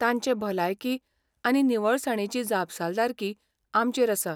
तांचे भलायकी आनी निवळसाणेची जापसालदारकी आमचेर आसा.